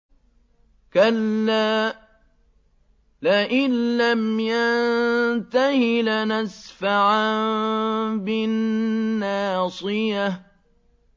كَلَّا لَئِن لَّمْ يَنتَهِ لَنَسْفَعًا بِالنَّاصِيَةِ